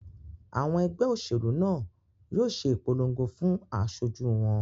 Àwọn ẹgbẹ́ òṣèlú náà yóò ṣe ìpolongo fún asojú wọn